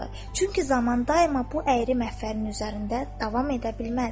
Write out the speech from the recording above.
Çünki zaman daima bu əyri məhvənin üzərində davam edə bilməz.